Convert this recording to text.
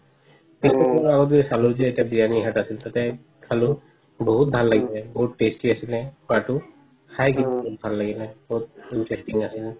biryani hut এটা আছিল তাতে খালো বহুত ভালে লাগিলে বহুত tasty আছিলে খোৱাটো খাই কিন্তু বহুত ভাল লাগিলে বহুত tasty আছিল